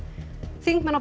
þingmenn á